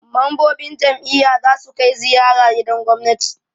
Mambobin jam'iyya za su kai ziyara gidan gwamnati.